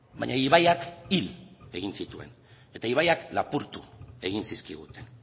baina ibaiak hil egin zituen eta ibaiak lapurtu egin zizkiguten